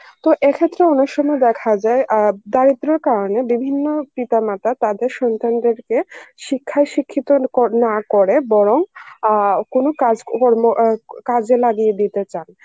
তো এক্ষেত্রে অন্য সময় দেখা যায় আ দারিদ্দ্রর কারণে বিভিন্ন পিতা মাতা তাদের সন্তানদের কে শিক্ষায় শিক্ষিত কো~ না করে বরং আ কোনো কাজ কর্ম, কাজে লাগিয়ে দিতে চান